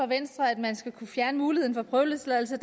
venstre at man skal kunne fjerne muligheden for prøveløsladelse